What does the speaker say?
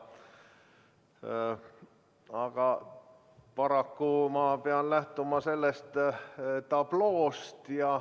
Aga paraku ma pean lähtuma sellest tabloost.